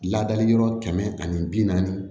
Ladali yɔrɔ kɛmɛ ani bi naani